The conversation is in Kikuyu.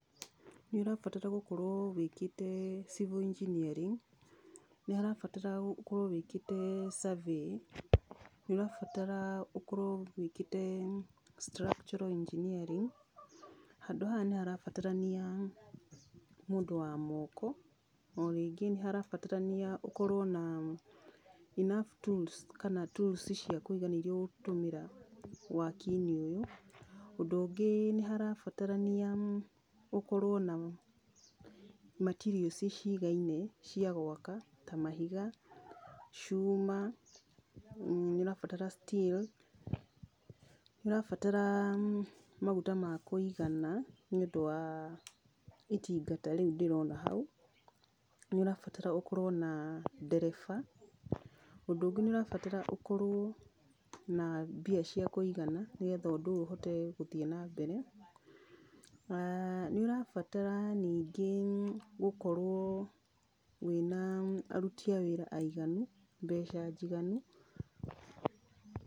Nĩ ũrabatara gũkorũo, wĩkĩte civil engineering, nĩ harabatara ũkorwo wĩkĩte survey, nĩ ũrabatara ũkorwo wĩkĩte structural engineering, handũ haha nĩ harabatarania mũndũ wa moko, o rĩngĩ nĩ harabatarania ũkorũo na enough tools, kana tools cia kũigana iria ũgũtũmĩra, wakinĩ ũyũ, ũndũ ũngĩ nĩ harabatarania, ũkorwo na, materials cigaine, cia gwaka, ta mahiga, cuma, nĩ ũrabatara still, nĩ ũrabatara maguta ma kũigana, nĩ ũndũ wa itinga ta rĩu ndĩrona hau, nĩ ũrabatara ũkorwo na ndereba, ũndũ ũngĩ nĩ ũrabatara ũkorwo na mbia cia kũigana, nĩgetha ũndũ ũyũ ũhote gũthiĩ na mbere, nĩ ũrabatara ningĩ gũkorwo, wĩna, aruti a wĩra aiganu, mbeca njiganu.